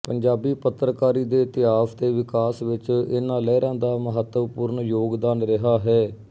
ਪੰਜਾਬੀ ਪੱਤਰਕਾਰੀ ਦੇ ਇਤਿਹਾਸ ਤੇ ਵਿਕਾਸ ਵਿੱਚ ਇਨ੍ਹਾਂ ਲਹਿਰਾਂ ਦਾ ਮਹਤਵਪੂਰਣ ਯੋਗਦਾਨ ਰਿਹਾ ਹੈ